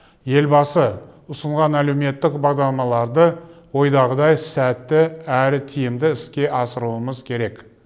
елбасы ұсынған әлеуметтік бағдарламаларды ойдағыдай сәтті әрі тиімді іске асыруымыз керек